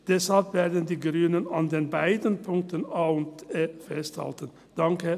Deshalb werden die Grünen an den beiden Punkten a und e festhalten.